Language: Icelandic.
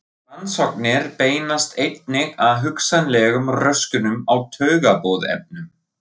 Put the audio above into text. Rannsóknir beinast einnig að hugsanlegum röskunum á taugaboðefnum.